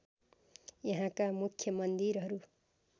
यहाँका मुख्य मन्दिरहरू